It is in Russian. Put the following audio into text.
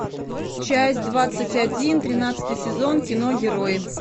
часть двадцать один тринадцатый сезон кино герои